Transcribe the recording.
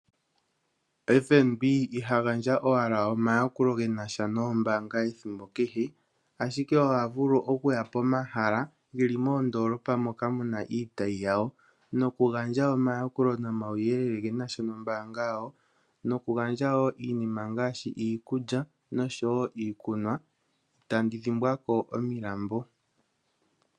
Ombaanga yotango yopashigwana ihayigandja owala omayakulo genasha noombaanga ethimbo kehe, ashike ohavulu okuya pomahala geli moondoolopa moka muna iitayi yawo nokugandja omayakulo nomawuyelele genasha nombaanga yawo, nokugandja woo iinima ngaashi iikulya noshowo iikunwa, noshowo ominambo.